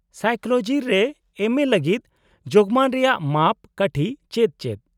-Psychology ᱨᱮ ᱮᱢᱹᱮ ᱞᱟᱹᱜᱤᱫ ᱡᱳᱜᱢᱟᱱ ᱨᱮᱭᱟᱜ ᱢᱟᱯ ᱠᱟᱴᱷᱤ ᱪᱮᱫ ᱪᱮᱫ ?